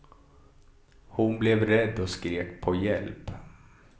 Hon blev rädd och skrek på hjälp.